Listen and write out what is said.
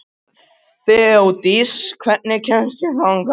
Þeódís, hvernig kemst ég þangað?